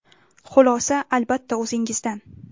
Xulosa, albatta, o‘zingizdan!